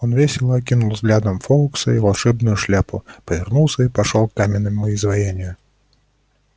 он весело окинул взглядом фоукса и волшебную шляпу повернулся и пошёл к каменному изваянию